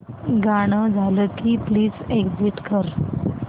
गाणं झालं की प्लीज एग्झिट कर